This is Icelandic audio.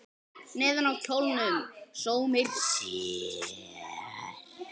Neðan á kjólnum sómir sér.